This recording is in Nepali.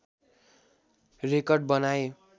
रेकर्ड बनाए